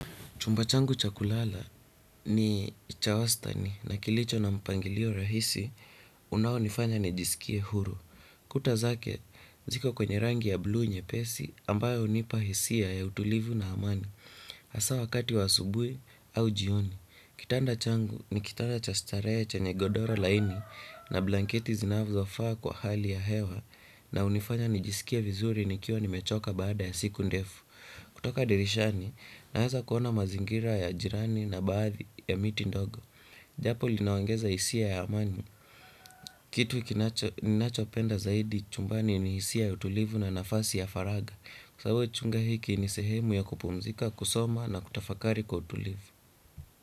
Chumba changu cha kulala ni cha wastani na kilicho na mpangilio rahisi unao nifanya nijisikie huru. Kuta zake, ziko kwenye rangi ya bluu nyepesi ambayo unipa hisia ya utulivu na amani. Asa wakati wa asubui au jioni. Kitanda changu ni kitanda cha starehe chanye godoro laini na blanketi zinavyofaa kwa hali ya hewa na unifanya nijisikie vizuri nikiwa nimechoka baada ya siku ndefu. Kutoka dirishani, naeza kuona mazingira ya jirani na baadhi ya miti ndogo. Japo linaongeza isia ya amani. Kitu ninachopenda zaidi chumbani ni isia ya utulivu na nafasi ya faraga. Kwa sababu chunga hiki ni sehemu ya kupumzika, kusoma na kutafakari kwa utulivu.